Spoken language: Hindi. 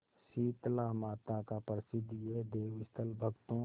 शीतलामाता का प्रसिद्ध यह देवस्थल भक्तों